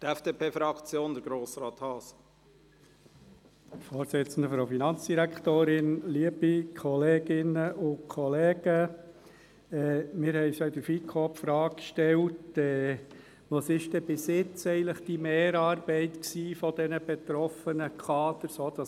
Wir haben bereits in der FiKo die Frage gestellt, was denn bis jetzt die Mehrarbeit der betroffenen Kader gewesen sei.